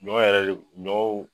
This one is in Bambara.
Ɲɔ yɛrɛ le ɲɔw